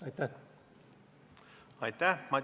Aitäh!